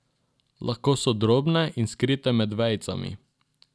Lahko so drobne in skrite med vejicami.